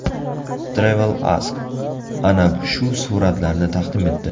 TravelAsk ana shu suratlarni taqdim etdi .